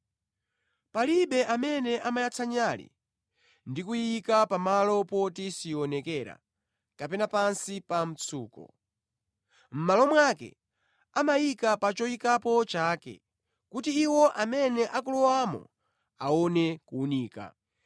“Palibe amene amayatsa nyale ndi kuyiika pa malo poti sionekera, kapena pansi pa mtsuko. Mʼmalo mwake amayika pa choyikapo chake, kuti iwo amene akulowamo aone kuwunika.